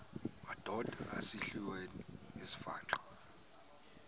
madod asesihialweni sivaqal